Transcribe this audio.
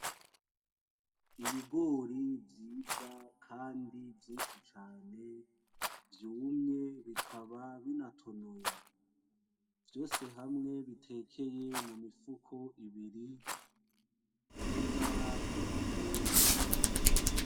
Ibigori vyiza kandi vyinshi cane vyumye bikaba binatonoye, vyose hamwe bitekeye mumifuko ibiri yibara ryera.